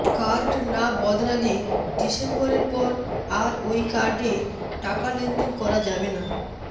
card না বদলালে ডিসেম্বরের পর আর ওই কার্ডে টাকা লেনদেন করা যাবে না